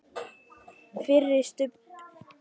FYRIR STUBB fyrir ofan.